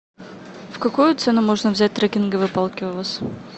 в какую цену можно взять трекинговые палки у вас